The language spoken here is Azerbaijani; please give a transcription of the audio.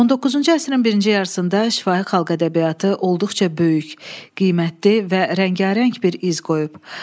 19-cu əsrin birinci yarısında şifahi xalq ədəbiyyatı olduqca böyük, qiymətli və rəngarəng bir iz qoyub.